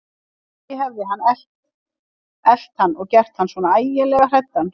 Kannski hefði hann elt hann og gert hann svona ægilega hræddan.